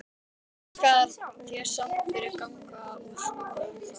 Þakka þér samt fyrir að ganga úr skugga um það.